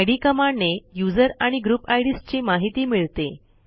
इद कमांडने यूझर आणि group IDs ची माहिती मिळते